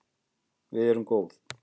Við erum góð